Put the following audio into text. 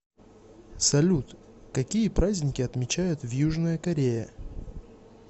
салют какие праздники отмечают в южная корея